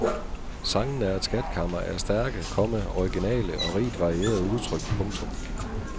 Sangene er et skatkammer af stærke, komma originale og rigt varierede udtryk. punktum